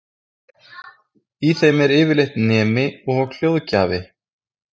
Í þeim er yfirleitt nemi og hljóðgjafi.